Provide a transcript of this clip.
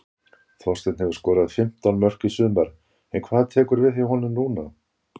Þorsteinn hefur skorað fimmtán mörk í sumar en hvað tekur við hjá honum núna?